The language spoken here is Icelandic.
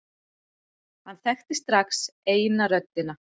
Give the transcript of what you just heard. Hann þekkti strax eina röddina.